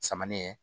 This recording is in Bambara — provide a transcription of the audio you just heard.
Samanin